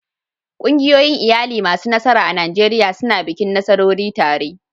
Ƙungiyoyin iyali masu nasara a Najeriya suna bikin nasarori tare.